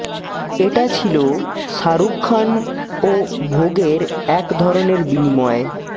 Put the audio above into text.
এটা ছিল শাহরুখ খান ও ভোগের এক ধরনের বিনিময়